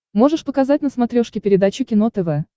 можешь показать на смотрешке передачу кино тв